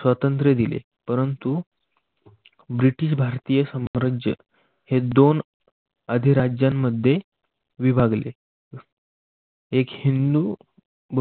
स्वातंत्र्य दिले. परंतु ब्रिटिश भारतीय साम्राज्य हे दोन अधिराज्यांमध्ये विभागले एक हिंदू